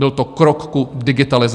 Byl to krok k digitalizaci.